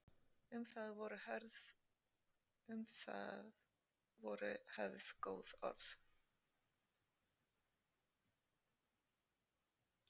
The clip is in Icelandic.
Um það voru höfð góð orð.